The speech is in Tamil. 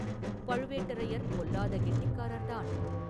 பழுவேட்டரையர் பொல்லாத கெட்டிக்காரர்தான்!